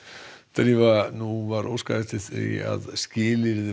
drífa nú var óskað eftir því að skilyrði